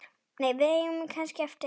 Við eigum kannski eftir.